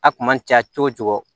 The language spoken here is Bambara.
A kun man ca cogo cogo